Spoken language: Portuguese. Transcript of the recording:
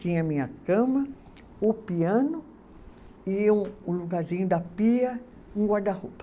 Tinha a minha cama, o piano e um o lugarzinho da pia, um guarda-roupa.